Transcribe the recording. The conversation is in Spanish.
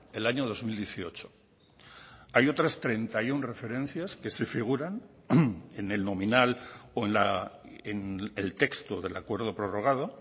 el año dos mil dieciocho hay otras treinta y uno referencias que se figuran en el nominal o en el texto del acuerdo prorrogado